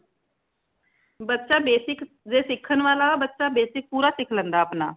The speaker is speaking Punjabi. ਬੱਚਾ basic ਜੇ ਸਿੱਖਣ ਵਾਲਾ ਬੱਚਾ basic ਪੂਰਾ ਸਿੱਖ ਲੈਂਦਾ ਹੈ ਆਪਣਾ